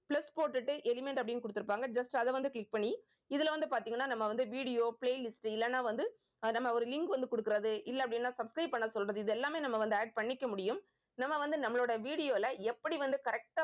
plus போட்டுட்டு element அப்படின்னு கொடுத்திருப்பாங்க just அதை வந்து click பண்ணி இதுல வந்து பார்த்தீங்கன்னா நம்ம வந்து video playlist இல்லைன்னா வந்து அஹ் நம்ம ஒரு link வந்து கொடுக்கிறது இல்லை அப்படின்னா subscribe பண்ண சொல்றது இது எல்லாமே நம்ம வந்து add பண்ணிக்க முடியும் நம்ம வந்து நம்மளோட video ல எப்படி வந்து correct ஆ